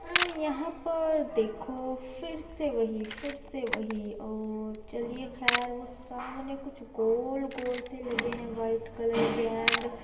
यहाँ पे देखो फिर से वही फिर से वही और चलिए खैर वो सामने कुछ गोल-गोल से लगे है वाइट कलर के एंड